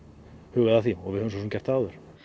hugað að því og við höfum svo sem gert það áður